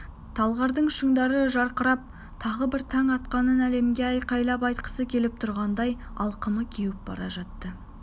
талғардың шыңдары жарқырап тағы бір таң атқанын әлемге айқайлап айтқысы келіп тұрғандай алқымы кеуіп бара жатты